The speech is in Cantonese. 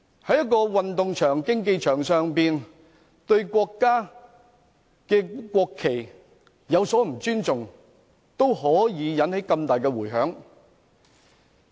在運動場、競技場上對國家的國旗有所不尊重，已可以引起這麼大的迴響。